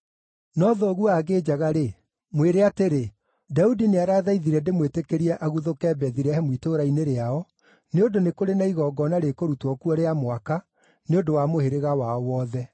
No thoguo angĩnjaga-rĩ, mwĩre atĩrĩ, ‘Daudi nĩarathaithire ndĩmwĩtĩkĩrie aguthũke Bethilehemu itũũra-inĩ rĩao, nĩ ũndũ nĩ kũrĩ na igongona rĩkũrutwo kuo rĩa mwaka nĩ ũndũ wa mũhĩrĩga wao wothe.’